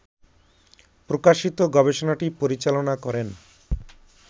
প্রকাশিত গবেষণাটি পরিচালনা করেন